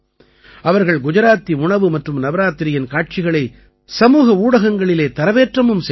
அவர்கள் குஜராத்தி உணவு மற்றும் நவராத்திரியின் காட்சிகளை சமூக ஊடகங்களிலே தரவேற்றமும் செய்தார்கள்